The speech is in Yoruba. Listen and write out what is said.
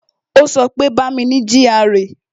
Ó sọ pé "Bá mi ní GRA"